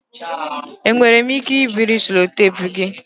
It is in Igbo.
Enwere m ike ibiri sellotape gị?